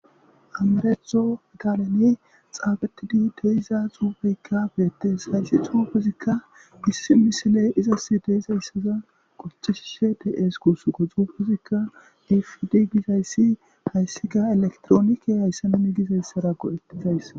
amaretho daalene xaabetidi deiza xuufeykka beettes hayssi xuufezikka issi misile izas deizayssazan qocchishishe dees kusu go xuufezikka ifidi gizayssi hayssika elektroonike hayssenami gizayssara qo7ettizays